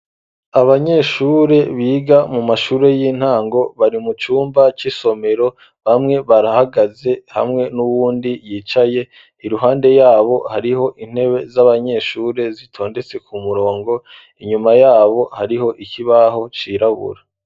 Abanyeshure biga mu mashuri y'intango bari mu cumba c'isomero bamwe barahagaze hamwe n'uwundi yicaye iruhande yabo hariho intebe z'abanyeshuri zitondetse ku murongo inyuma yabo hariho ikibaho cirabura